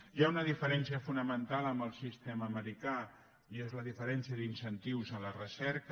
hi ha una diferència fonamental amb el sistema americà i és la diferència d’incentius a la recerca